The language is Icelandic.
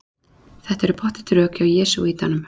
Þetta eru pottþétt rök hjá jesúítanum.